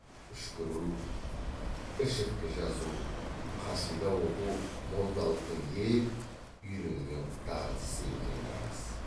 үшкіру ішірткі жазу қасида оқу молдалықтың ел үйренген дағдысы екені рас